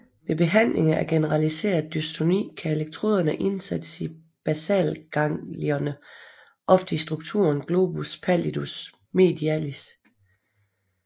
Ved behandling af generaliseret dystoni kan elektroderne indsættes i basalganglierne ofte i strukturen globus pallidus medialis